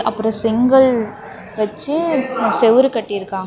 அப்றோ செங்கல் வெச்சி செவுரு கட்டிருக்காங்க.